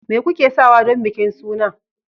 me kuke sawa don bikin suna